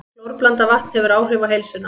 Klórblandað vatn hefur áhrif á heilsuna